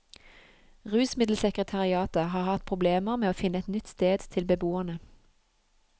Rusmiddelsekretariatet har hatt problemer med å finne et nytt sted til beboerne.